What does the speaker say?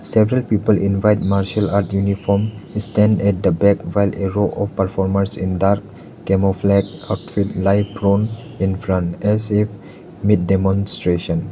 several people in white martial art uniform stand at the back while a row of performers in dark camouflage outfit lie from in front as if mid demonstration.